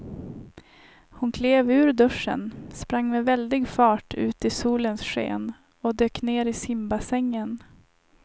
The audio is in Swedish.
Hon klev ur duschen, sprang med väldig fart ut i solens sken och dök ner i simbassängen.